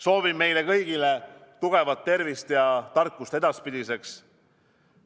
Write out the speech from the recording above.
Soovin meile kõigile tugevat tervist ja tarkust edaspidiseks.